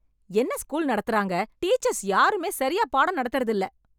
என்ன ஸ்கூல் நடத்துறாங்க டீச்சர்ஸ் யாருமே சரியா பாடம் நடத்தறதுதில்ல.